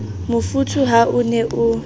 mofuthu ha o ne o